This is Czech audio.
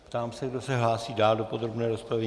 Ptám se, kdo se hlásí dále do podrobné rozpravy.